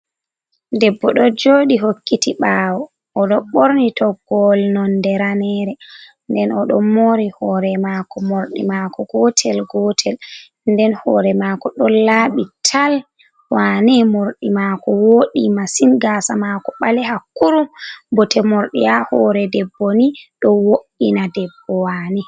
Debbo ɗo joɗi hokkiti ɓawo, oɗo ɓorni toggowol nonde ranere, nden o ɗon mori hore mako morɗi mako gotel gotel, nden hore mako ɗon laɓi tal, wane morɗi mako woɗi masin, gasa mako ɓale hakkurum bote morɗi ha hore debbo ni, ɗo wo’ina debbo wane.